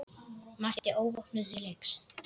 Mætti óvopnuð til leiks.